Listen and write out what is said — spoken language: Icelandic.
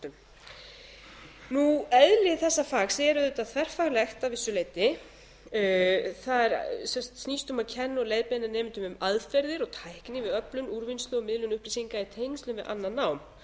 í kennsluháttum eðli þessa fags er auðvitað þverfaglegt að vissu leyti það snýst um að kenna og leiðbeina nemendum um aðferðir og tækni við öflun úrvinnslu og miðlun upplýsinga í tengslum við annað nám